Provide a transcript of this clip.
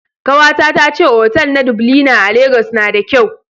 Kawata ta ce otal na Dublina a Legas na da kyau